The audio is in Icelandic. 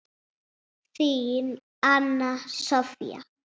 Þín, Anna Soffía.